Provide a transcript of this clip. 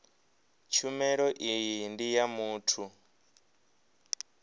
tshumelo iyi ndi ya muthu